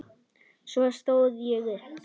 Svo stóð ég upp.